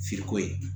ko ye